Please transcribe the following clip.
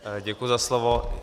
Děkuji za slovo.